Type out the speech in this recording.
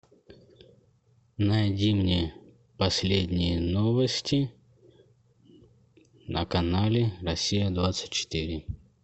найди мне последние новости на канале россия двадцать четыре